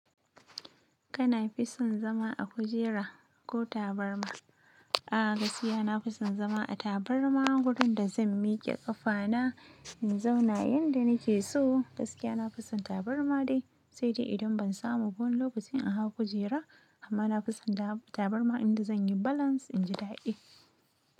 Kana fison zama a kujera ko tabarma? A gaskiya na fison zama a tabarma wurin da zan miƙe ƙafana in zauna yanda nake so. Gaskiya na fison tabarma dai, sai dai idan ban samu wani lokacin inhaw kujera amma na fison tabarma inda zan yi balance in ji daɗi.